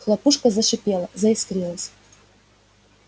хлопушка зашипела заискрилась